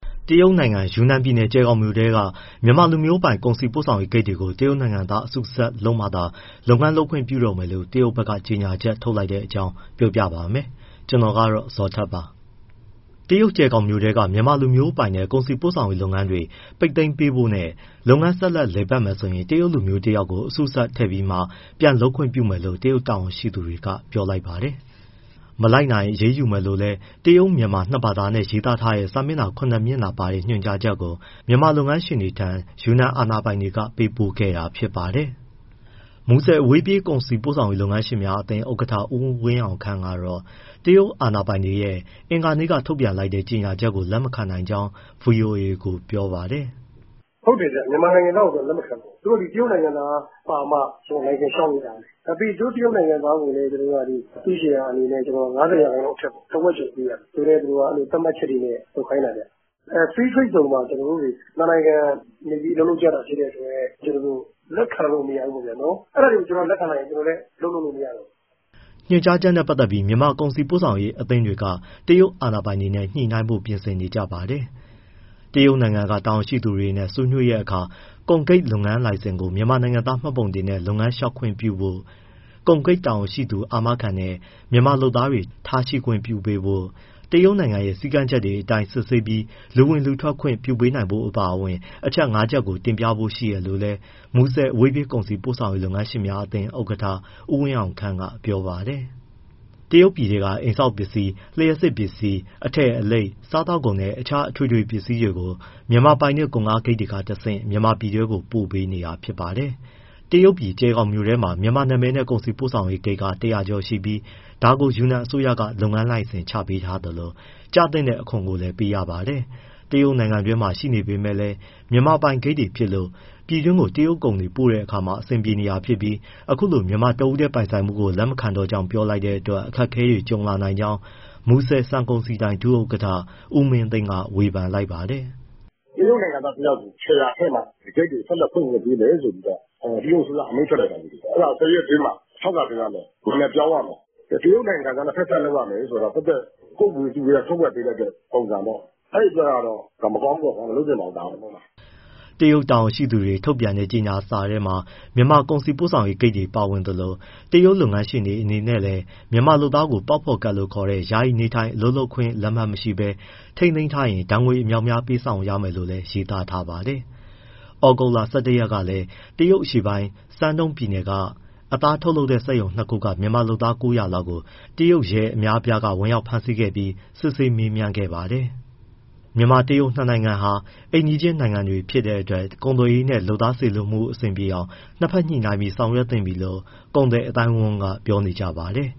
တရုတ်နိုင်ငံ ယူနန်ပြည်နယ်၊ ကျယ်ခေါင်မြို့ ထဲက မြန်မာလူမျိုးပိုင် ကုန်စည်ပို့ဆောင်ရေး ဂိတ်တွေကို တရုတ်နိုင်ငံသားနဲ့ အစုစပ်လုပ်မှသာ လုပ်ငန်းလုပ်ခွင့်ပြုတော့မယ်လို့ တရုတ်ဘက်က ညွှန်ကြားချက်ထုတ်လိုက်တဲ့ အကြောင်းပြောပြပါမယ်။ ဗွီအိုအေမြန်မာပိုင်းသတင်းထောက် ကိုဇော်ထက် တင်ပြထားပါတယ်။ တရုတ် ကျယ်ခေါင်မြို့ထဲက မြန်မာလူမျိုးပိုင်တဲ့ ကုန်စည်ပို့ဆောင်ရေးလုပ်ငန်းတွေ ပိတ်သိမ်းပေးဖို့နဲ့ လုပ်ငန်းဆက်လည်ပတ်မယ်ဆိုရင် တရုတ်လူမျိုးတယောက်ကို အစုစပ်ထည့်ပြီးမှ ပြန်လုပ်ခွင့်ပြုမယ်လို့ တရုတ်တာဝန်ရှိသူတွေက ပြောလိုက်ပါတယ်။ မလိုက်နာရင် အရေးယူမယ်လို့လည်း တရုတ်- မြန်မာ နှစ်ဘာသာနဲ့ ရေးသားထားတဲ့ စာမျက်နှာ ၇ မျက်နှာပါ ညွှန်ကြားချက်ကို မြန်မာလုပ်ငန်းရှင်တွေထံ ယူနန်အာဏာပိုင်တွေက ပေးပို့ခဲ့တာဖြစ်ပါတယ်။ မူဆယ် အဝေးပြေးကုန်စည်ပို့ဆောင်ရေး လုပ်ငန်းရှင်များအသင်း ဥက္ကဋ္ဌ ဦးဝင်းအောင်ခန့်ကတော့ တရုတ်အာဏာပိုင်တွေရဲ့ အင်္ဂါနေ့က ထုြတ်ပန်လိုက်တဲ့ ညွှန်ကြားချက်ကို လက်မခံနိုင်ကြောင်း ဗွီအိုအေကို ပြောပါတယ်။ “ ဟုတ်တယ်ဗျ၊ သူက မြန်မာနိုင်ငံသားကို လက်မခံတော့တာ။ သူတို့တရုတ်နိုင်ငံသားပါမှ လိုင်စင်လျှောက်လို့ရမယ်၊ ပြီးရင် သူတို့တရုတ်နိုင်ငံသားကိုလည်း အစုရှယ်ယာအနေနဲ့ ၅၀ ရာခိုင်နှုန်း အထက်ပေါ့ တဝက်ကျော်ပေးရမယ်ဆိုတဲ့ သတ်မှတ်ချက်တွေနဲ့ လုပ်ခိုင်းတာဗျ။ Free Trade Zone မှာ ကျနော်တို့တွေ နှစ်နိုင်ငံ အလုပ်လုပ်ကြတာ ဖြစ်တဲ့အတွက် ကျနော်တို့ လက်ခံလို့ မရဘူးပေါ့ဗျာ။ အဲဒါတွေကို လက်ခံလိုက်ရင် ကျနော်တို့လည်း အလုပ်လုပ်လို့ မရတော့ဘူး။ “ ညွှန်ကြားချက်နဲ့ ပတ်သက်ပြီး မြန်မာကုန်စည်ပို့ဆောင်ရေးအသင်းတွေက တရုတ်အာဏာပိုင်တွေနဲ့ ညှိနှိုင်းဖို့ ပြင်ဆင်နေကြပါတယ်။ တရုတ်နိုင်ငံက တာဝန်ရှိသူတွေနဲ့ ဆွေးနွေးတဲ့ အခါ ကုန်ဂိတ်လုပ်ငန်းလိုင်စင်ကို မြန်မာနိုင်ငံသားမှတ်ပုံတင်နဲ့ လုပ်ငန်းလျှောက်ခွင့်ပြုဖို့၊ ကုန်ဂိတ်တာဝန်ရှိသူ အာမခံနဲ့ မြန်မာလုပ်သားတွေ ထားရှိခွင့်ပြုပေးဖို့၊ တရုတ်နိုင်ငံရဲ့ စည်းကမ်းချက်တွေအတိုင်း စစ်ဆေးပြီး လူဝင်၊ လူထွက်ခွင့် ပြုပေးနိုင်ဖို့အပါအဝင် အချက်ငါးချက်ကို တင်ပြဖို့ ရှိတယ်လို့လည်း မူဆယ် အဝေးပြေးကုန်စည်ပို့ဆောင်ရေး လုပ်ငန်းရှင်များအသင်း ဥက္ကဋ္ဌ ဦးဝင်းအောင်ခန့်က ပြောပါတယ်။ တရုတ်ပြည်ထဲက အိမ်ဆောက်ပစ္စည်း၊ လျှပ်စစ်ပစ္စည်း၊ အထည်လိပ်၊ စားသောက်ကုန်နဲ့ တခြားအထွေထွေ ပစ္စည်းတွေကို ဒီမြန်မာပိုင်တဲ့ ကုန်ကားဂိတ်တွေက တဆင့် မြန်မာပြည်တွင်းကို ပို့ပေးနေတာပါ။ တရုတ်ပြည် ကျယ်ဂေါင်မြို့ထဲမှာ မြန်မာနာမည်နဲ့ ကုန်စည်ပို့ဆောင်ရေးဂိတ် ၁၀၀ ကျော်ရှိပြီး ဒါကို ယူနန်အစိုးရက လုပ်ငန်းလိုင်စင် ချပေးထားသလို ကျသင့်တဲ့ အခွန်လည်းပေးရပါတယ်။ တရုတ်နိုင်ငံတွင်းမှာရှိပေမဲ့လည်း မြန်မာပိုင်ဂိတ်တွေဖြစ်လို့ ပြည်တွင်းကို တရုတ်ကုန်တွေ ပို့တဲ့အခါ အဆင်ပြေနေတာဖြစ်ပြီး အခုလို မြန်မာတဦးတည်း ပိုင်ဆိုင်မှုကို လက်မခံတော့ကြောင်း ပြောလိုက်တဲ့အတွက် အခက်အခဲတွေ ကြုံလာနိုင်ကြောင်း မူဆယ်ဆန်ကုန်စည်ဒိုင် ဒုဥက္ကဋ္ဌ ဦးမင်းသိန်းက ဝေဖန်လိုက်ပါတယ်။ “တရုတ်နိုင်ငံသားတယောက်ကို ရှယ်ယာထည့်မှ ဒီဂိတ်တွေကို ဆက်လက်ဖွင့်ခွင့်ပေးမယ်ဆိုပြီး တရုတ်အစိုးရက အမိန့်ထွက်လိုက်တယ်၊ အဲဒါကို ၁၀ ရက်အတွင်းမှာ လျှောက်လွှာတင်ရမယ်၊ နာမည်ပြောင်းရမယ်၊ တရုတ်နိုင်ငံသားနဲ့ ဖက်စပ်လုပ်ရမယ်ဆိုတာ ဒါသက်သက် ကိုယ့်ဝေစုထဲက ထက်ဝက်ပေးလိုက်တဲ့ ပုံစံပေါ့။ အဲဒီအတွက်ကတော့ မကောင်းပါဘူး၊ မလုပ်သင့်ဘူး။” တရုတ်တာဝန်ရှိသူတွေ ထုတ်ပြန်တဲ့ကြေညာစာထဲမှာ မြန်မာကုန်စည်ပို့ဆောင်ရေးဂိတ်တွေ ပါဝင်သလို၊ တရုတ်လုပ်ငန်းရှင်တွေအနေနဲ့လည်း မြန်မာလုပ်သားကိုပေါက်ဖော်ကဒ်လို့ခေါ်တဲ့ ယာယီနေထိုင် အလုပ်လုပ်ခွင့်လက်မှတ် မရှိဘဲ ထိန်းသိမ်းထားရင် ဒဏ်ငွေအမြောက်အများ ပေးဆောင်ရမယ်လို့လည်းရေးသားထားပါတယ်။ ဩဂုတ်လ ၁၁ရက် ကလည်း တရုတ်အရှေ့ပိုင်း Shandong ပြည်နယ်က အသားထုတ်လုပ်တဲ့စက်ရုံ ၂ခုက မြန်မာလုပ်သား ၉၀၀ လောက်ကို တရုတ်ရဲ အများအပြားက ဝင်ရောက်ဖမ်းဆီးခဲ့ပြီး စစ်ဆေးမေးမြန်းခဲ့ပါတယ်။ မြန်မာ- တရုတ်နှစ်နိုင်ငံဟာ အိမ်နီးချင်း နိုင်ငံတွေဖြစ်တဲ့အတွက် ကုန်သွယ်ရေးနဲ့ လုပ်သားစေလွှတ်မှုတွေ အဆင်ပြေအောင် နှစ်ဘက်ညှိနိုင်းပြီး ဆောင်ရွက်သင့်ပြီလို့ ကုန်သည်အသိုင်းအဝန်းကပြောကြပါတယ်